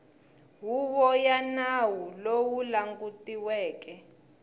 huvo ya nawu lowu langutiweke